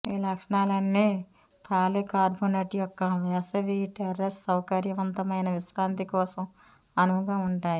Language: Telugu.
ఈ లక్షణాలన్నీ పాలికార్బోనేట్ యొక్క వేసవి టెర్రేస్ సౌకర్యవంతమైన విశ్రాంతి కోసం అనువుగా ఉంటాయి